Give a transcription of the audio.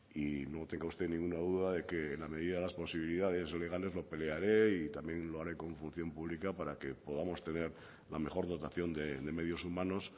y no tenga usted ninguna duda de que en la medida de las posibilidades legales lo pelearé y también lo haré con función pública para que podamos tener la mejor dotación de medios humanos